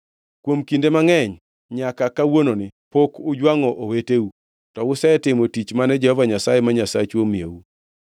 Kuom kinde mangʼeny nyaka kawuononi, pok ujwangʼo oweteu, to usetimo tich mane Jehova Nyasaye ma Nyasachu omiyou.